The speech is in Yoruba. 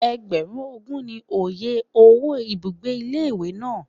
Ẹgbẹ̀rún ogún ni oye owó ibùgbé ilé ìwé náà.